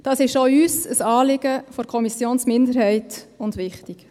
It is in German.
Das ist auch der Kommissionsminderheit wichtig und ein Anliegen.